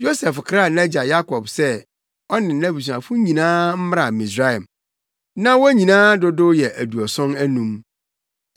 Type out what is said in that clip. Yosef kraa nʼagya Yakob se ɔne nʼabusuafo nyinaa mmra Misraim. Na wɔn nyinaa dodow yɛ aduɔson anum.